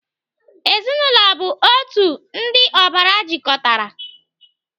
Ezinaụlọ bụ otu ndị ọbara jikọtara.